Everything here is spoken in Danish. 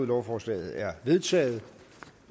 lovforslaget er vedtaget